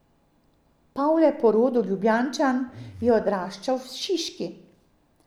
Pavle, po rodu Ljubljančan, je odraščal v Šiški.